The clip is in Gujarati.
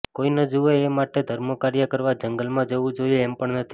કોઈ ન જુએ એ માટે ધર્મકાર્ય કરવા જંગલમાં જવું જોઈએ એમ પણ નથી